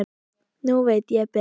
Núna veit ég betur.